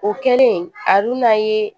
O kɛlen a dun n'a ye